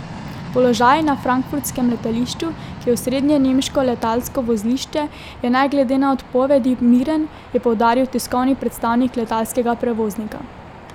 Položaj na frankfurtskem letališču, ki je osrednje nemško letalsko vozlišče, je ne glede na odpovedi miren, je poudaril tiskovni predstavnik letalskega prevoznika.